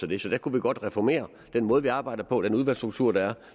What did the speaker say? det så der kunne vi godt reformere den måde vi arbejder på den udvalgsstruktur der er